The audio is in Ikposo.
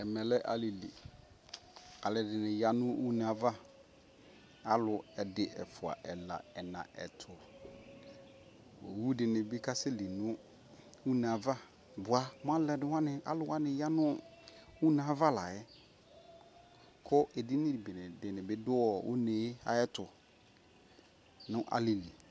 Ɛmɛ lɛ alili ɛdini ya nuneava alu ɛdi ɛfua ɛla ɛnaa utuu owu dinibi kasɛ li nuneava bua aluwani ya nuneava layɛ ku edini bi du uneayɛtu nalili